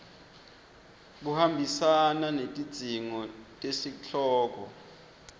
buhambisana netidzingo tesihloko